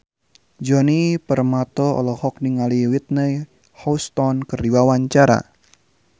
Djoni Permato olohok ningali Whitney Houston keur diwawancara